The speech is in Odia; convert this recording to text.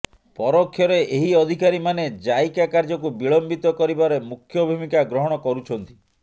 ପରୋକ୍ଷରେ ଏହି ଅଧିକାରୀମାନେ ଜାଇକା କାର୍ଯ୍ୟକୁ ବିଳମ୍ବିତ କରିବାରେ ମୁଖ୍ୟଭୂମିକା ଗ୍ରହଣ କରୁଛନ୍ତି